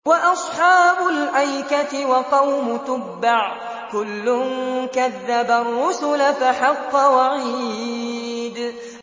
وَأَصْحَابُ الْأَيْكَةِ وَقَوْمُ تُبَّعٍ ۚ كُلٌّ كَذَّبَ الرُّسُلَ فَحَقَّ وَعِيدِ